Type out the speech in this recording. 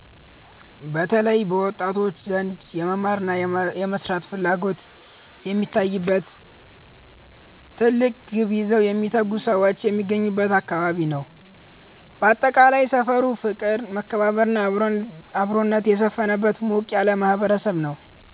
በተለይ በወጣቶች ዘንድ የመማርና የመስራት ፍላጎት የሚታይበት፣ ትልቅ ግብ ይዘው የሚተጉ ሰዎች የሚገኙበት አካባቢ ነው። ባጠቃላይ፣ ሰፈሩ ፍቅር፣ መከባበርና አብሮነት የሰፈነበት ሞቅ ያለ ማህበረሰብ ነው።